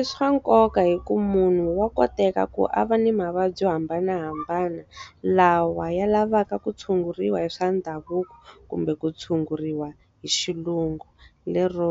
I swa nkoka hikuva munhu wa koteka ku a va ni mavabyi yo hambanahambana. Lawa ya lavaka ku tshunguriwa hi swa ndhavuko kumbe ku tshunguriwa hi xilungu lero,